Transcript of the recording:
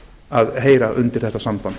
að heyra undir þetta samband